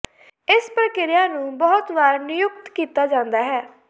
ਇਸ ਪ੍ਰਕਿਰਿਆ ਨੂੰ ਬਹੁਤ ਵਾਰ ਨਿਯੁਕਤ ਕੀਤਾ ਜਾਂਦਾ ਹੈ